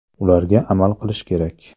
Ularga amal qilish kerak.